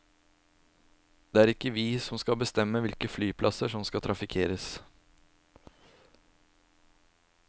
Det er ikke vi som skal bestemme hvilke flyplasser som skal trafikkeres.